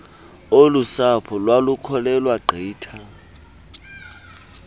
olusapho lwalukholelwa gqitha